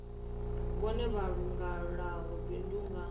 vhone vha langulaho bindu nga